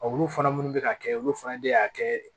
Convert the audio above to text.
Olu fana minnu bɛ ka kɛ olu fana de y'a kɛ